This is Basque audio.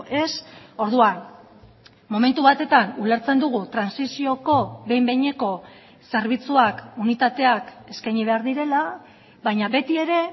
ez orduan momentu batetan ulertzen dugu trantsizioko behin behineko zerbitzuak unitateak eskaini behar direla baina beti ere